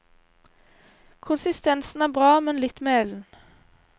Konsistensen er bra, men litt melen.